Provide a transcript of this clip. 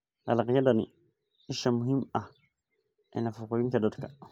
Dalagyada ni isha muhiim ah ee nafaqooyinka dadka.